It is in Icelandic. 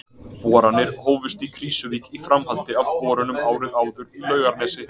Boranir hófust í Krýsuvík í framhaldi af borunum árið áður í Laugarnesi.